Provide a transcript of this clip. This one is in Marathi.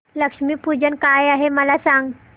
लक्ष्मी पूजन काय आहे मला सांग